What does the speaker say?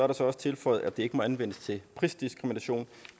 der så også tilføjet at det ikke må anvendes til prisdiskrimination